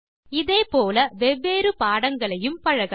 இதே போல வெவ்வேறு பாடங்களையும் பழகலாம்